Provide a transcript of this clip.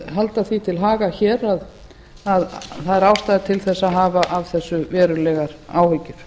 halda því til haga hér að það er ástæða til þess að hafa af þessu verulegar áhyggjur